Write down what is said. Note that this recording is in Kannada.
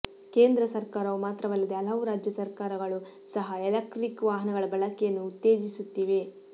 ಕೇಂದ್ರ ಸರ್ಕಾರವು ಮಾತ್ರವಲ್ಲದೇ ಹಲವು ರಾಜ್ಯ ಸರ್ಕಾರಗಳೂ ಸಹ ಎಲೆಕ್ಟ್ರಿಕ್ ವಾಹನಗಳ ಬಳಕೆಯನ್ನು ಉತ್ತೇಜಿಸುತ್ತಿವೆ